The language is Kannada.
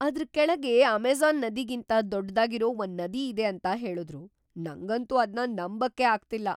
ಅದ್ರ್ ಕೆಳ್ಗೆ ಅಮೆಜ಼ಾನ್‌ ನದಿಗಿಂತ ದೊಡ್ದಾಗಿರೋ ಒಂದ್ ನದಿ ಇದೆ ಅಂತ ಹೇಳುದ್ರು, ನಂಗಂತೂ ಅದ್ನ ನಂಬಕ್ಕೇ ಆಗ್ತಿಲ್ಲ!